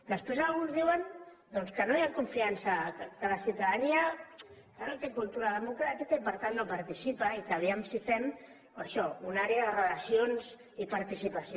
després alguns diuen que no hi ha confiança que la ciutadania no té cultura democràtica i que per tant no participa i que a veure si fem això una àrea de relacions i participació